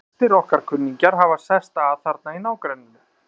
Flestir okkar kunningjar hafa sest að þarna í nágrenninu.